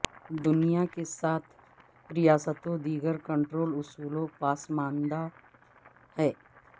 دنیا کے ساتھ ریاستوں دیگر کنٹرول اصولوں پسماندہ ہیں